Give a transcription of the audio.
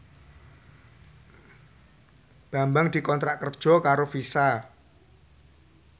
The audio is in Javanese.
Bambang dikontrak kerja karo Visa